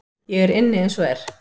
Ég er inni eins og er.